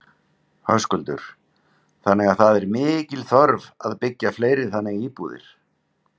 Höskuldur: Þannig að það er mikil þörf að byggja fleiri þannig íbúðir?